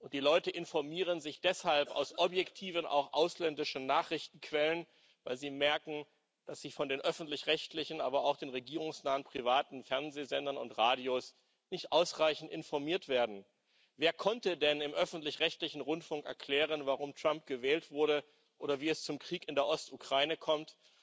Die Leute informieren sich deshalb aus objektiven auch ausländischen Nachrichtenquellen, weil sie merken, dass sie von den öffentlich rechtlichen, aber auch den regierungsnahen privaten Fernseh und Radiosendern nicht ausreichend informiert werden. Wer konnte denn im öffentlich rechtlichen Rundfunk erklären, warum Trump gewählt wurde oder wie es zum Krieg in der Ostukraine kommt?